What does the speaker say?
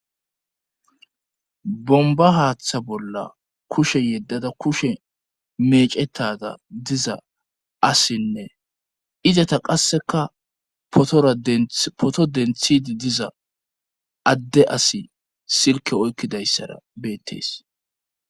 Bomba haaththa bolla kushe yeddada kushe meecettada diza asinne izata qasseka rapoto denthidi diza adde asi silke oykkidayssara beettees.